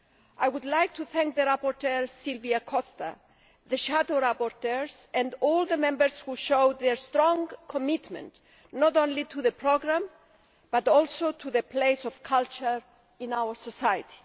I would like to thank the rapporteur, Silvia Costa, the shadow rapporteurs and all the Members who showed their strong commitment not only to the programme, but also to the place of culture in our society.